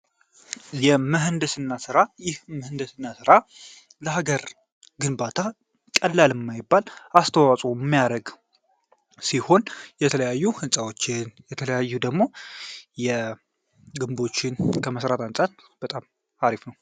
የምህንድስና ስራ የስና ራ ለሀገር ግንባታ ቀላል የማይባል ተቀኛለሁ ሲሆን የተለያዩ ህንፃዎችን እንዲሁም ደግሞ ግንቡን ከመስራት አንጻር በጣም አሪፍ ነው።